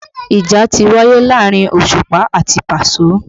Ìjà ti wáyé rí láàrin Òṣùpá àti Paso